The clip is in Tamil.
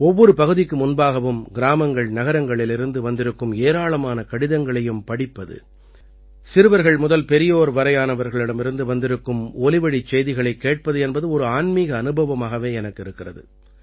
ஒவ்வொரு பகுதிக்கு முன்பாகவும் கிராமங்கள்நகரங்களிலிருந்து வந்திருக்கும் ஏராளமான கடிதங்களையும் படிப்பது சிறுவர்கள் முதல் பெரியோர் வரையிலானவர்களிடமிருந்து வந்திருக்கும் ஒலிவழிச் செய்திகளைக் கேட்பது என்பது ஒரு ஆன்மீக அனுபவமாகவே எனக்கு இருக்கிறது